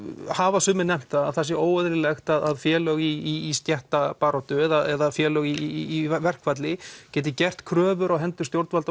hafa sumir nefnt að það sé óeðlilegt að félög í stéttabaráttu eða félög í verkfalli geti gert kröfur á hendur stjórnvalda